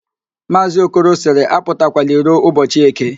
Maazị Okoro sịrị, apụtakwala iro ụbọchị​ Eke